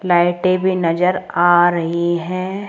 लाइटें भी नजर आ रही है।